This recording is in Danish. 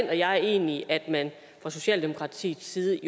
jeg egentlig at man fra socialdemokratiets side